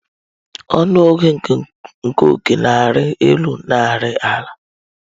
Ọnụ ego nke ọ́kẹ́ na-arị elu na ari ala.